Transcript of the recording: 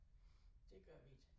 Det gør vi ikke